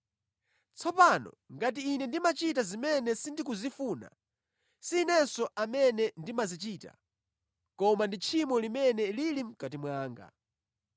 Tsopano ngati ine ndimachita zimene sindikuzifuna, si inenso amene ndimazichita, koma ndi tchimo limene lili mʼkati mwanga.